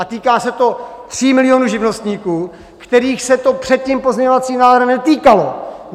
A týká se to 3 milionů živnostníků, kterých se to před tím pozměňovacím návrhem netýkalo.